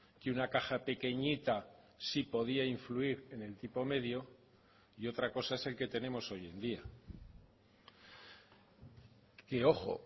que una caja pequeñita sí podía influir en el tipo medio y otra cosa es el que tenemos hoy en día y ojo